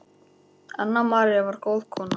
Anna María var góð kona.